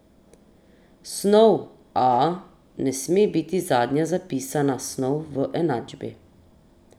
Snov A ne sme biti zadnja zapisana snov v enačbi.